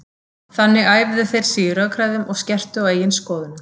Þannig æfðu þær sig í rökræðum og skerptu á eigin skoðunum.